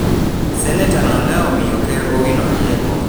Senata no ne omiyo ker Owino rieko